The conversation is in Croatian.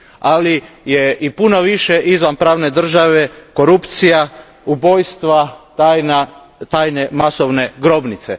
Ali je i puno više izvan pravne države korupcija, ubojstva, tajne masovne grobnice.